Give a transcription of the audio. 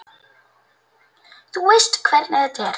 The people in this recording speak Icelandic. Þú veist hvernig þetta er.